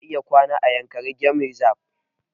Ana iya kwana a yankari game reserve